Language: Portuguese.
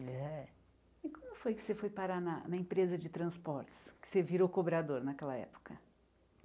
Eles é e como foi que você foi parar na empresa de transportes, que você virou cobrador naquela época?